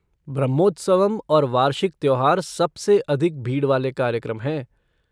ब्रह्मोत्सवम और वार्षिक त्योहार सबसे अधिक भीड़ वाले कार्यक्रम हैं।